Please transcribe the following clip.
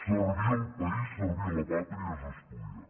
servir el país servir la pàtria és estudiar